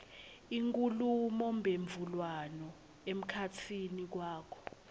inkhulumomphendvulwano emkhatsini wakho